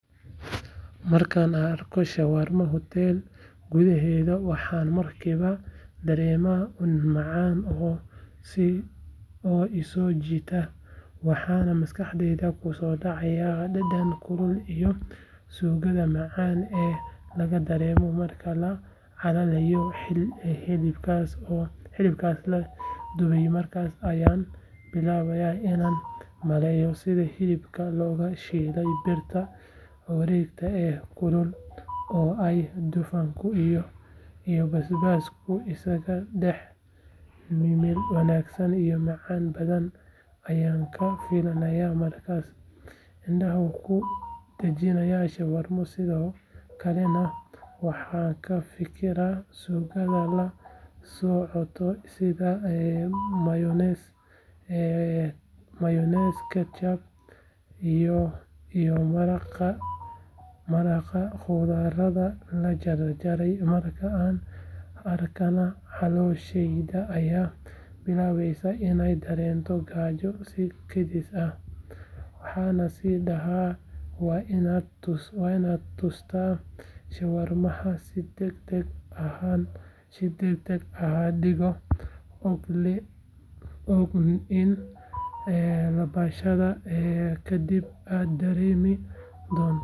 Marka aan arko shawarma hotel gudaheed waxaan markiiba dareemaa ur macaan oo i soo jiita waxaana maskaxdayda ku soo dhacaya dhadhan kulul iyo suugada macaan ee laga dareemo marka la calaliyo hilibkaas la dubaymarkaas ayaan bilaabaa inaan maleyno sida hilibkaas loogu shiilay birta wareegta ee kulul oo ay dufanka iyo basbaaska isaga dhex milmeenwanaag iyo macaan badan ayaan ka filayaa markaan indhaha ku dhajiyo shawarma sidoo kalena waxaan ka fikiraa suugada la socota sida mayonees ketchup iyo maraqa khudradda la jarjaraymarka aan arkana calooshayda ayaa bilaabaysa inay dareento gaajo si kedis ah waxaana is dhahaa waa inaad tustaa shawarmahan si degdeg ahadigoo og in laabashada ka dib aad dareemi doonto raaxo.